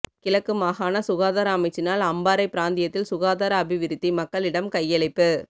கிழக்கு மாகாண சுகாதார அமைச்சினால் அம்பாறை பிராந்தியத்தில் சுகாதார அபிவிருத்தி மக்களிடம் கையளிப்பு